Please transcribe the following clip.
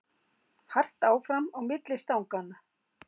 Hart áfram á milli stanganna